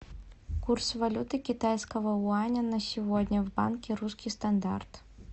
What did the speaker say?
курс валюты китайского юаня на сегодня в банке русский стандарт